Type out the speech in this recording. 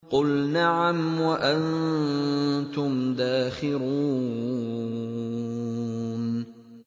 قُلْ نَعَمْ وَأَنتُمْ دَاخِرُونَ